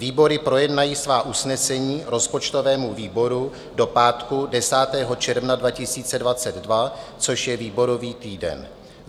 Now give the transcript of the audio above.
Výbory projednají svá usnesení rozpočtovému výboru do pátku 10. června 2022 - což je výborový týden.